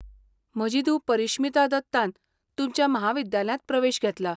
म्हजी धूव परिश्मिता दत्तान तुमच्या म्हाविद्यालयांत प्रवेश घेतला.